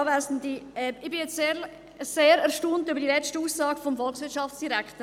Ich bin jetzt sehr erstaunt über die letzte Aussage des Volkswirtschaftsdirektors.